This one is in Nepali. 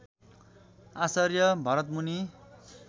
आचार्य भरतमुनि